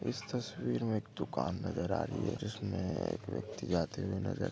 इस तस्वीर में एक दुकान नजर आ रही हैं जिसमे एक व्यक्ति आते हुए नज़र--